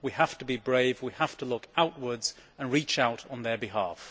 We have to be brave, and we have to look outwards and reach out on their behalf.